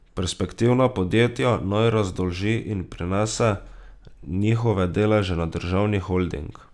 Perspektivna podjetja naj razdolži in prenese njihove deleže na državni holding.